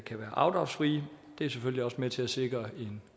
kan være afdragsfri det er selvfølgelig også med til at sikre